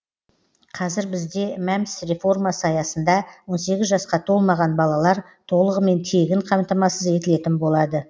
қазір бізде мәмс реформасы аясында он сегіз жасқа толмаған балалар толығымен тегін қамтамасыз етілетін болады